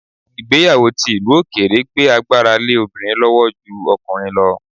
Ìgbéyàwó ti ìlú òkèèrè gbé agbára lé obìnrin lọ́wọ́ ju ọkùnrin lọ